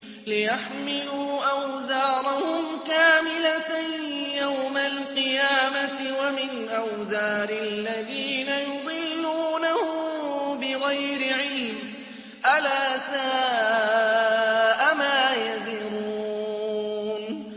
لِيَحْمِلُوا أَوْزَارَهُمْ كَامِلَةً يَوْمَ الْقِيَامَةِ ۙ وَمِنْ أَوْزَارِ الَّذِينَ يُضِلُّونَهُم بِغَيْرِ عِلْمٍ ۗ أَلَا سَاءَ مَا يَزِرُونَ